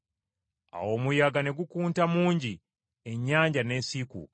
Awo omuyaga ne gukunta mungi, ennyanja n’esiikuuka.